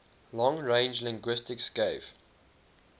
long range linguistics gave